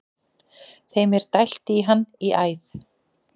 Þeim er dælt í hann í æð.